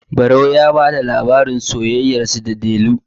barau ya ba da labarin sayayyarsa da delu